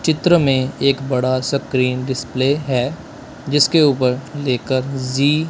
चित्र में एक बड़ा स्क्रीन डिस्प्ले है जिसके ऊपर लेकर जी--